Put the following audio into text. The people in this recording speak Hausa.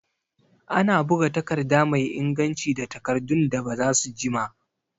Ana buga takarda mai inganci da takardun da bazasu jima